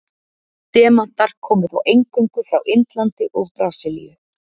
Demantar komu þá eingöngu frá Indlandi og Brasilíu.